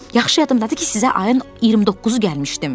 Yaxşı yadımdadır ki, sizə ayın 29-u gəlmişdim.